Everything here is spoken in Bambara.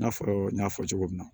I n'a fɔ n y'a fɔ cogo min na